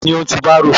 Ta ni ó ń ti bárò?